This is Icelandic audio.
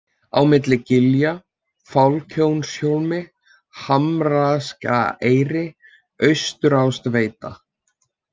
Á milli gilja, Fálkjónshólmi, Hamarsgeiraeyri, Austastaáveita